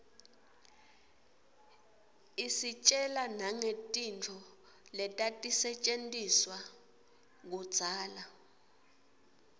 istjela nangetintfo letatisetjentiswa kudzala